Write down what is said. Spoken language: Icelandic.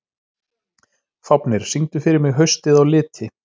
Fáfnir, syngdu fyrir mig „Haustið á liti“.